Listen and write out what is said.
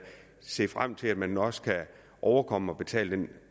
se frem til at man også kan overkomme at betale